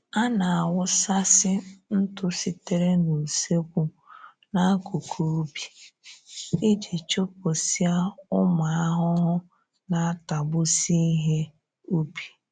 A na-awụsasị ntụ sitere n'usekwu n'akụkụ ubi iji chụpụsịa ụmụ ahụhụ na-atagbusị ihe ubi